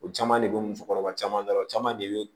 O caman de bɛ musokɔrɔba caman da la o caman de bɛ yen